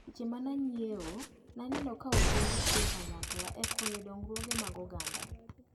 Seche mane anyiewo naneno ka ojende tiyo kanyakla e konyo dongruoge mag oganda.